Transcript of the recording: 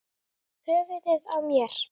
Höfuðið á mér